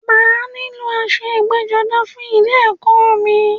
Màá nílò aṣọ ẹgbẹ́-jọdá fún ilẹ ẹ̀kọ́ mi.